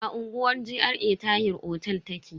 A unguwar GRA Tahir otel take.